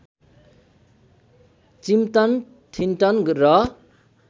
चिम्तन ठिन्तन र